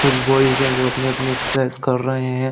कुछ बॉइज है जो अपनी अपनी एक्सरसाइज़ कर रहे हैं।